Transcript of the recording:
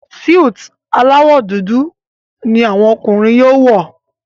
Súìtì alawọ dúdú ní àwọn ọkùnrin yóò wọ.